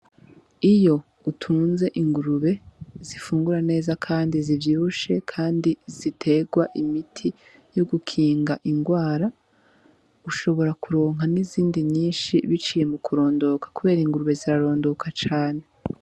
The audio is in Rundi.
Iyo utunze ingurube zifungura neza kandi zi vyibushe kandi zi terwa imiti yo gukinga ingwara ushobora ku ronka n'izindi nyishi biciye mu kurondoka kubera ingurube zira rondoka cane.